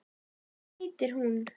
Hvað heitir hún?